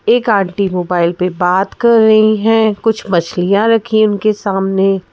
एक aunty mobile पे बात कर रही हैं कुछ मछलियाँ रखी उनके सामने।